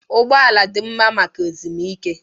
Ụgbọ ala dị mma maka ezumike.